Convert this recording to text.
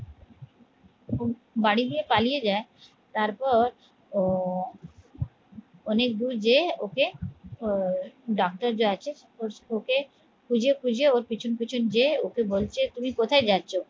বাড়ি দিয়ে পালিয়ে যায়, তারপর ও অনেক দূর যেযে ওকে আহ ডাক্তার যে আছে ওকে খুঁজে খুঁজে ওর পিছন পিছন যেযে ওকে বলছে তুমি কোথায় যাচ্ছ?